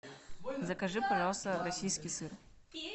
закажи пожалуйста российский сыр